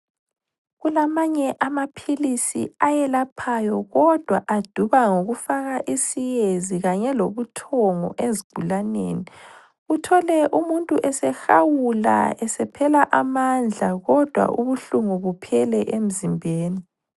Kulamanye amaphilisi ayelaphayo kodwa aduba ngokufaka isiyezi kanye lobuthongo ezigulaneni, uthole umuntu esehawula esephela amandla kodwa ubuhlungu buphele emzimbeni.